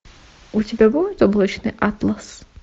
у тебя будет облачный атлас